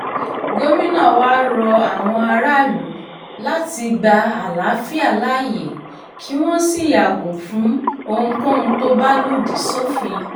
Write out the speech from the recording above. gomina wàá rọ àwọn aráàlú láti gba àlàáfíà láàyè kí wọ́n sì yàgò fún ohunkóhun tó bá lòdì sófin